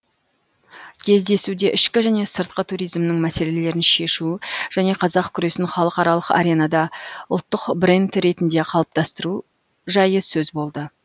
кездесуде ішкі және сыртқы туризмнің мәселелерін шешу және қазақ күресін халықаралық аренада ұлттық бренд ретінде қалыптастыру жайы сөз болды